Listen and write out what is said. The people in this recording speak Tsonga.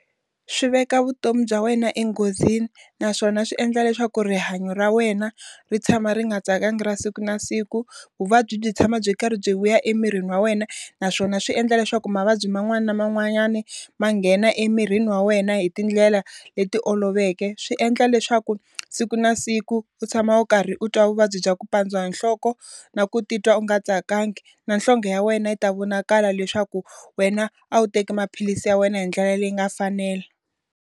Swi veka vutomi bya wena enghozini, naswona swi endla leswaku rihanyo ra wena ri tshama ri nga tsakangi ra siku na siku. Vuvabyi byi tshama byi karhi byi vuya emirini wa wena, naswona swi endla leswaku mavabyi man'wani na man'wanyani ma nghena emirini wa wena hi tindlela leti oloveke. Swi endla leswaku siku na siku u tshama u karhi u twa vuvabyi bya ku pandziwa hi nhloko, na ku titwa u nga tsakangi. Na nhlonge ya wena yi ta vonakala leswaku wena a wu teki maphilisi ya wena hi ndlela leyi nga fanela.